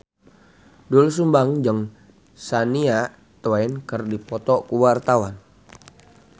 Doel Sumbang jeung Shania Twain keur dipoto ku wartawan